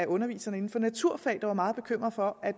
undervisere i naturfag der var meget bekymrede for at